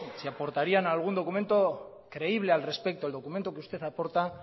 si aportarían algún documento creíble al respecto el documento que usted aporta